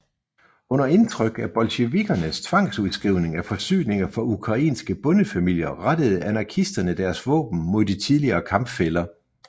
Under indtryk af bolsjevikkernes tvangsudskrivning af forsyninger fra ukrainske bondefamilier rettede anarkisterne deres våben mod de tidligere kampfæller